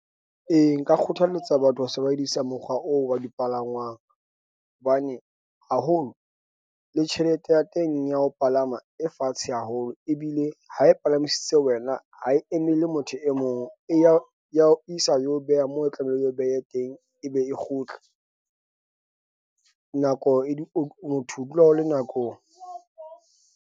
E, nka kgothaletsa batho ho sebedisa mokgwa oo wa dipalangwang hobane haholo le tjhelete ya teng ya ho palama e fatshe haholo ebile ha e palamisitse wena ha e emele motho e mong ya ya o isa eo beha mo tlamehileng eo behe teng ebe e kgutle nako motho o dula o le nakong.